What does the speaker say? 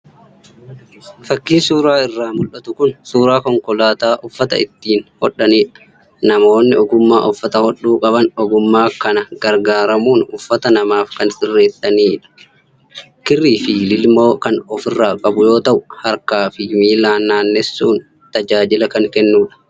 Fakiin suuraa irraa mul'atu kun suuraa Konkolaataa uffata ittiin hodhanidha. Namoonni ogummaa uffata hodhuu qaban meeshaa kan gargaaramuun uffata namaaf kan sirreessanisha. Kirrii fi lilmoo kan ofirraa qabu yoo ta'u, harkaa fi miillaan naannessuun tajaajila kan kennuudha.